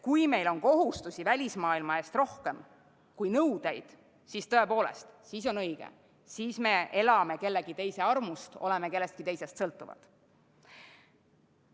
Kui meil on kohustusi välismaailma ees rohkem kui nõudeid, siis, see on tõepoolest õige, me elame kellegi teise armust, oleme kellestki teisest sõltuvad.